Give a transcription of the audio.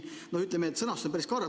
Ütleme, sõnastus on päris karm.